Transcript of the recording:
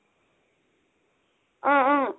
অ'অ'